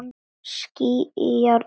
Skín í járnið.